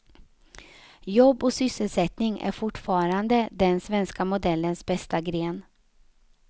Jobb och sysselsättning är fortfarande den svenska modellens bästa gren.